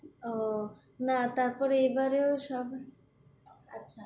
আহ না তারপরে এবারেও সব আচ্ছা,